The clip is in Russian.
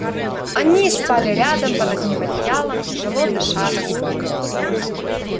они спали рядом под одним одеялом тяжело дыша во сне